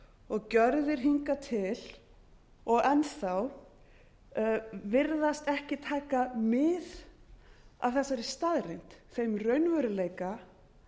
og gjörðir hingað til og enn þá virðast ekki taka mið af þessari staðreynd þeim raunveruleika